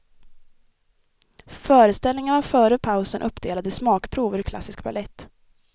Föreställningen var före pausen uppdelad i smakprov ur klassisk balett.